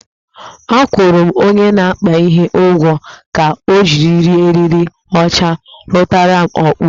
Akwụrụ m onye na-akpa ihe ụgwọ ka ojiriri eriri ọcha rutaram okpu